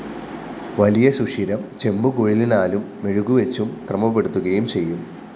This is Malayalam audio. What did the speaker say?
വലിയ സുഷിരം ചെമ്പുകുഴലിനാലും മെഴുകുവച്ചും ക്രമപ്പെടുത്തുകയും ചെയ്യും